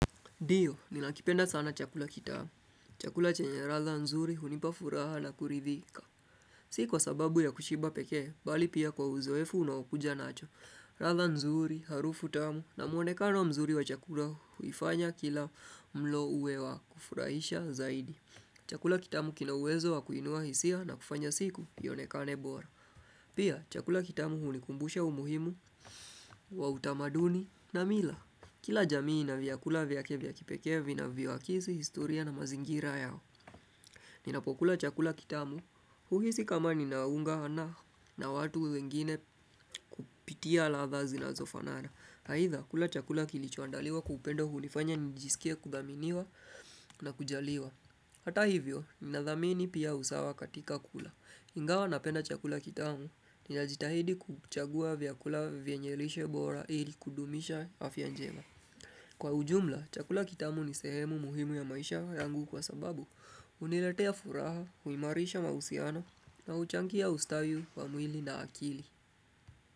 Ndio, ninakipenda sana chakula kitamu. Chakula chenye ladha nzuri hunipa furaha na kuridhika. Si kwa sababu ya kushiba peke, bali pia kwa uzoefu unaokuja nacho. Ladha nzuri, harufu tamu na muonekano mzuri wa chakula huifanya kila mlo uwe wa kufurahisha zaidi. Chakula kitamu kina uwezo wa kuinua hisia na kufanya siku ionekane bora. Pia, chakula kitamu hunikumbusha umuhimu wa utamaduni na mila. Kila jamii inaviyakula viyake viya kipekee vinavyoakisi, historia na mazingira yao Ninapokula chakula kitamu huhisi kama ninaungana na watu wengine kupitia ladha zinazofanara aidha, kula chakula kilichoandaliwa kwa pendo hunifanya nijisikie kudhaminiwa na kujaliwa Hata hivyo, ninadhamini pia usawa katika kula Ingawa napenda chakula kitamu Ninajitahidi kuchagua vyakula vyenye lishe bora ili kudumisha afya njema Kwa ujumla, chakula kitamu ni sehemu muhimu ya maisha yangu kwa sababu hunilatea furaha huimarisha mahusiano na uchangia ustawi wa mwili na akili.